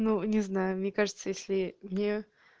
ну не знаю мне кажется если мне